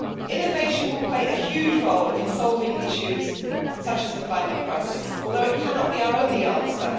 Innovation will play a huge role in solving issues such as the climate crisis, although it cannot be our only answer.